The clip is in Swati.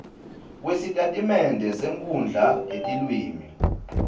kwesitatimende senkhundla yetilwimi